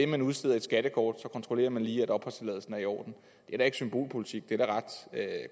man udsteder et skattekort kontrollerer man lige at opholdstilladelsen er i orden det er da ikke symbolpolitik det er da ret